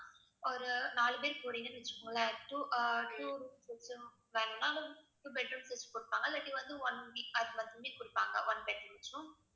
ஒரு நாலு பேர் போறீங்கன்னு வெச்சுக்கோங்களேன் two ah two two bed rooms கொடுப்பாங்க இல்லாட்டி வந்து one one bed rooms உம்